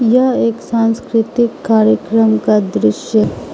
यह एक सांस्कृतिक कार्यक्रम का दृश्य --